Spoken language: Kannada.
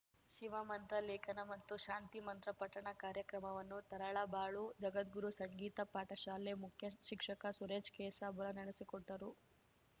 ಶಿವಮಂತ್ರ ಲೇಖನ ಮತ್ತು ಶಾಂತಿ ಮಂತ್ರ ಪಠಣ ಕಾರ್ಯಕ್ರಮವನ್ನು ತರಳಬಾಳು ಜಗದ್ಗುರು ಸಂಗೀತ ಪಾಠಶಾಲೆ ಮುಖ್ಯ ಶಿಕ್ಷಕ ಸುರೇಶ್‌ ಕೇಸಾಬುರ ನಡೆಸಿಕೊಟ್ಟರು